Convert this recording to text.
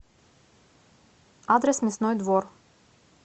адрес мясной двор